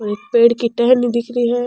एक पेड़ की टहनी दिख रही है।